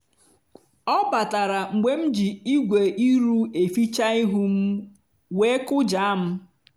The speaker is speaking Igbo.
ọ batara mgbe m ji igwe iru eficha ihu m wee kụjaa m.